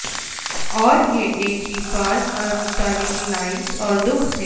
اور یہ ایک ہی فعال اور متحرک لائنز اور دخ ہے